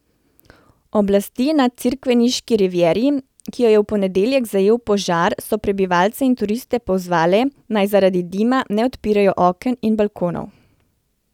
Oblasti na crikveniški rivieri, ki jo je v ponedeljek zajel požar, so prebivalce in turiste pozvale, naj zaradi dima ne odpirajo oken in balkonov.